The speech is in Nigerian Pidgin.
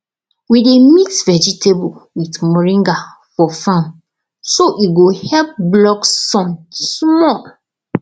we dey mix vegetable with moringa for farm so e go help block sun small